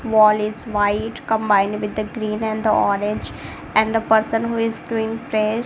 wall is white combined with the green and orange and a person who is doing prayers.